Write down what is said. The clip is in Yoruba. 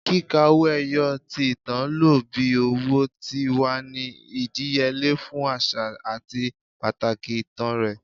Kika owo eyo, ti itan lo bi owo, ti wa ni idiyele fun aṣa ati pataki itan rẹ